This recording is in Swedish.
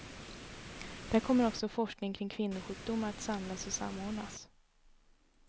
Där kommer också forskning kring kvinnosjukdomar att samlas och samordnas.